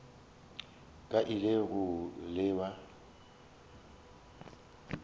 ka a ile go lewa